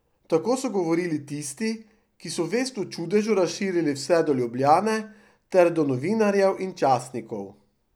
Tako so govorili tisti, ki so vest o čudežu razširili vse do Ljubljane ter do novinarjev in časnikov.